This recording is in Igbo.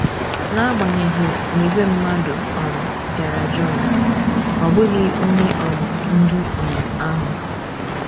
N’agbanyeghị na ìgwè mmadụ um bịara John, ọ bụghị Onye um Ndu um ahụ.